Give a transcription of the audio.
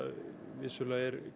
vissulega er